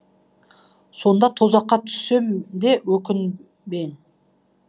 сонда тозаққа түссем де өкінбен